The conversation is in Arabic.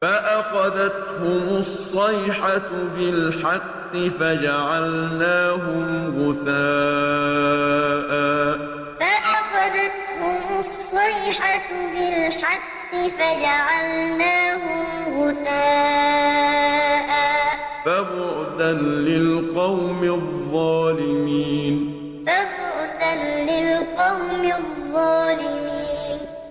فَأَخَذَتْهُمُ الصَّيْحَةُ بِالْحَقِّ فَجَعَلْنَاهُمْ غُثَاءً ۚ فَبُعْدًا لِّلْقَوْمِ الظَّالِمِينَ فَأَخَذَتْهُمُ الصَّيْحَةُ بِالْحَقِّ فَجَعَلْنَاهُمْ غُثَاءً ۚ فَبُعْدًا لِّلْقَوْمِ الظَّالِمِينَ